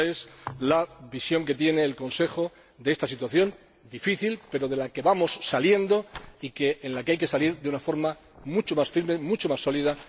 Esta es la visión que tiene el Consejo de esta situación difícil, pero de la que vamos saliendo y de la que hay que salir de una forma mucho más firme, mucho más sólida.